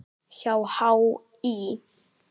hjá HÍ.